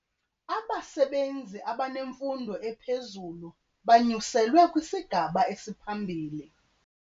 Abasebenzi abanemfundo ephezulu banyuselwe kwisigaba esiphambili.